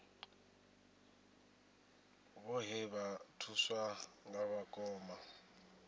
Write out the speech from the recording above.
vhoṱhe vha thuswa nga vhakoma